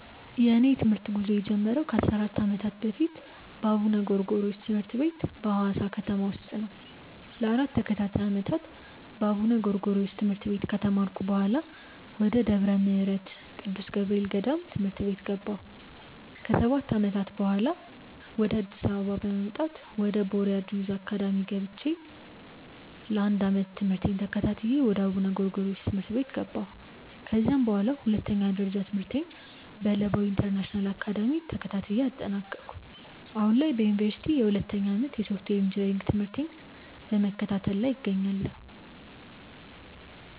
የእኔ የትምህርት ጉዞ የጀመረው ከ 14 ዓመታት በፊት በአቡነ ጎርጎሪዎስ ትምህርት ቤት በሀዋሳ ከተማ ውስጥ ነው። ለ 4 ተከታታይ ዓመታት በአቡነ ጎርጎሪዮስ ትምህርት ቤት ከተማርኩ በኃላ፣ ወደ ደብረ ምህረት ቅዱስ ገብርኤል ገዳም ትምህርት ቤት ገባሁ። ከ 7 ዓመታትም በኃላ፣ ወደ አዲስ አበባ በመምጣት ወደ ቦርያድ ዮዝ አካዳሚ ገብቼ ለ 1 ዓመት ትምህርቴን ተከታትዬ ወደ አቡነ ጎርጎሪዮስ ትምህርት ቤት ገባሁ። ከዚያም በኃላ ሁለተኛ ደረጃ ትምህርቴን በለባዊ ኢንተርናሽናል አካዳሚ ተከታትዬ አጠናቀኩ። አሁን ላይ በዮኒቨርሲቲ የሁለተኛ ዓመት የሶፍትዌር ኢንጂነሪንግ ትምህርቴን በመከታተል ላይ እገኛለሁ።